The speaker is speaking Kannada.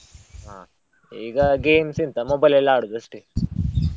ಹಾ, ಈಗ games ಎಂತ mobile ಅಲ್ಲೇ ಆಡೋದು ಅಷ್ಟೇ .